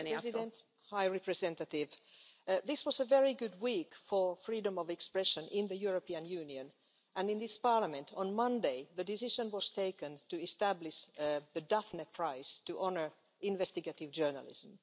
Madam President, this was a very good week for freedom of expression in the European Union, and in this Parliament on Monday the decision was taken to establish the Daphne Prize to honour investigative journalism.